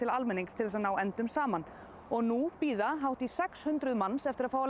almenning til að ná endum saman nú bíða hátt í sex hundruð manns eftir